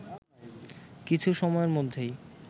কিছু সময়ের মধ্যেই